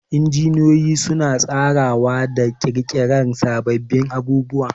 Injiniyoyi suna tsarawa da ƙirƙirar sababbin abubuwa